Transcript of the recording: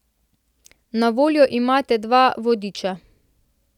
Na voljo imate dva vodiča.